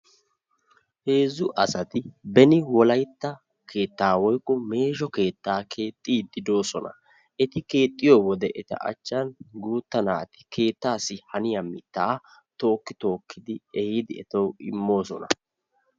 heezzu asati beni wollaytta keettaa woykko meeshso keettaa keexxiidi de'oosona. eti keexxiyoo wode eta achan guuta naati keettaasi haniyaa mittaa tokki tokki etassi immoosona.